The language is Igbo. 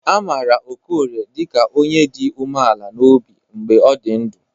A maara Okorie dịka onye dị umeala n'obi mgbe ọ dị ndụ.